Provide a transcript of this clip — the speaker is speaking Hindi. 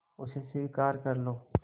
उसे स्वीकार कर लो